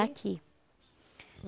Aqui.